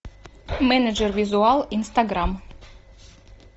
менеджер визуал инстаграм